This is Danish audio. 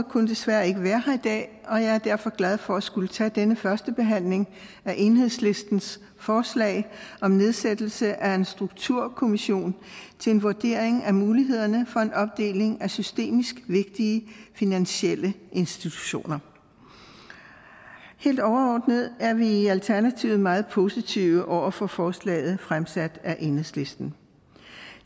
kunne desværre ikke være her i dag og jeg er derfor glad for at skulle tage denne første behandling af enhedslistens forslag om nedsættelse af en strukturkommission til en vurdering af mulighederne for en opdeling af systemisk vigtige finansielle institutioner helt overordnet er vi i alternativet meget positive over for forslaget fremsat af enhedslisten